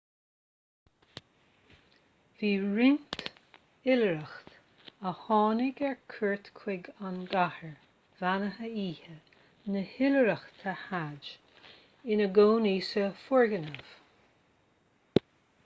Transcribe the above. bhí roinnt oilithreach a tháinig ar cuairt chuig an gcathair bheannaithe oíche na hoilithreachta hajj ina gcónaí san fhoirgneamh